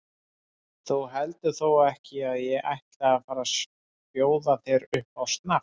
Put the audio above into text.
Þú heldur þó ekki að ég ætli að fara að bjóða þér upp á snafs?